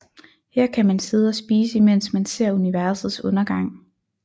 Her kan man sidde og spise imens man ser universets undergang